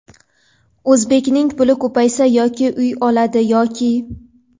O‘zbekning puli ko‘paysa yoki uy oladi yoki ..